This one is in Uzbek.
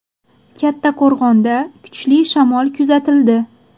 Kattaqo‘rg‘onda kuchli shamol kuzatildi.